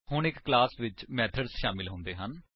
ਹੁਣ ਇੱਕ ਕਲਾਸ ਵਿੱਚ ਮੇਥਡਸ ਸ਼ਾਮਿਲ ਹੁੰਦੇ ਹਨ